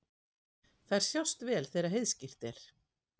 Þær sjást vel þegar heiðskírt er.